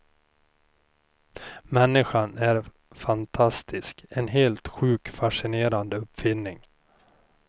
Människan är faktiskt en helt sjukt fascinerande uppfinning.